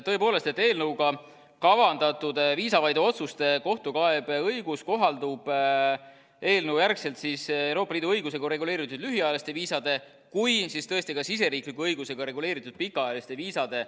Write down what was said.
Tõepoolest, eelnõuga kavandatud viisavaide otsuste kohtukaebeõigus kohaldub eelnõu järgi nii Euroopa Liidu õigusega reguleeritud lühiajalistele viisadele kui ka siseriikliku õigusega reguleeritud pikaajalistele viisadele.